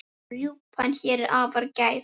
Rjúpan hér er afar gæf.